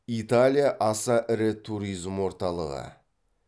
италия аса ірі туризм орталығы